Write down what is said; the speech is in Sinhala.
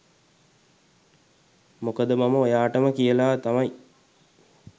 මොකද මම ඔයාටම කියලා තමයි